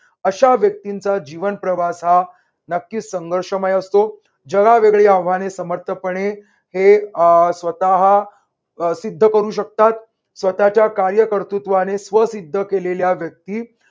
अशा व्यक्तींचा जीवन प्रवास हा नक्कीच संघर्षमय असतो. जगावेगळी आव्हाने समर्थपणे हे अह स्वतः हा सिद्ध करू शकतात. स्वतःच्या कार्यकर्तृत्वाने स्व सिद्ध केलेल्या व्यक्ती